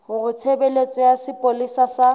hore tshebeletso ya sepolesa sa